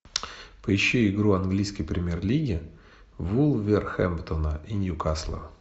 поищи игру английской премьер лиги вулверхэмптона и ньюкасла